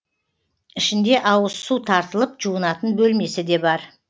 ішінде ауызсу тартылып жуынатын бөлмесі де бар